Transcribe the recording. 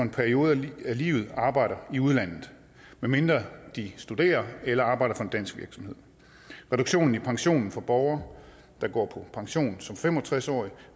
en periode i livet arbejder i udlandet medmindre de studerer eller arbejder på en dansk virksomhed reduktionen i pensionen for borgere der går på pension som fem og tres årige